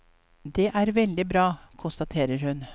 Det er veldig bra, konstaterer hun.